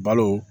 Balo